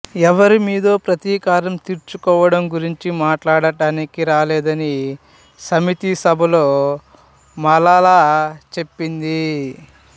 ఎవరి మీదో ప్రతీకారం తీర్చుకోవడం గురించి మాట్లాడటానికి రాలేదని సమితి సభలో మలాలా చెప్పింది